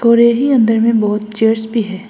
और यहीं अंदर में बहोत चेयर्स भी है।